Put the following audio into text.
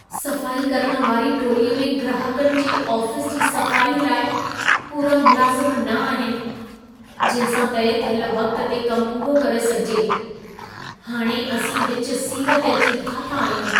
सफाई करण वारी टोलीअ में ग्राहकनि जे आफ़ीस जी सफ़ाई लाइ पूरा मुलाज़िम न आहिनि, जंहिं सां तइ थियल वक़्त ते कमु पूरो करे सघिजे। हाणे असीं विच सीर ते अची फाथा आहियूं।